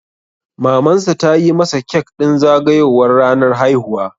Mamansa ta yi masa kek ɗin zagayowar ranar haihuwa.